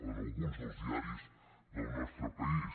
en alguns dels diaris del nostre país